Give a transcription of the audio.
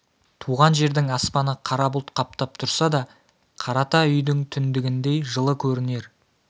туған жердің аспаны қара бұлт қаптап тұрса да қарата үйдің түндігіндей жылы көрінер